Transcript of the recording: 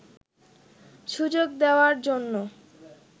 সুযোগ দেওয়ার জন্য